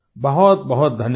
बहुतबहुत धन्यवाद